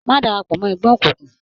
Má darapọ̀ mọ́ ẹgbẹ́ òkùnkùn.